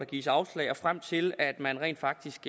gives afslag og frem til at man rent faktisk